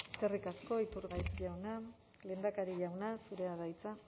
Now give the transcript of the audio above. eskerrik asko iturgaiz jauna lehendakari jauna zurea da hitza